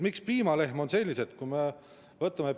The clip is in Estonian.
Miks piimalehmad on saanud sellise summa?